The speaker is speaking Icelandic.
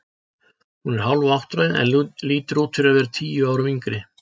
Hún er hálfáttræð en lítur út fyrir að vera tíu árum yngri.